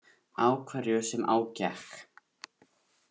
Á hverju sem á gekk.